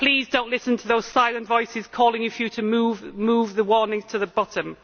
Please do not listen to those siren voices calling for you to move the warnings to the bottom.